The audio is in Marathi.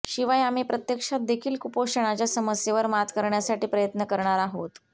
शिवाय आम्ही प्रत्यक्षात देखील कुपोषणाच्या समस्येवर मात करण्यासाठी प्रयत्न करणार आहोत